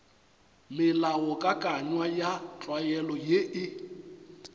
melaokakanywa ya tlwaelo ye e